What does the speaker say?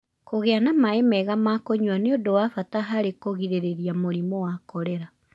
Kũgĩa na maĩ mega ma kũnyua nĩ ũndũ wa bata harĩ kũgirĩrĩria mũrimũ wa korera